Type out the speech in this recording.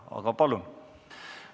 Aga palun!